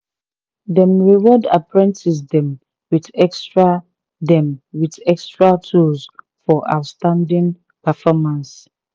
dem reward apprentice dem with extra dem with extra tools for outstanding performance